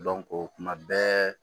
kuma bɛɛ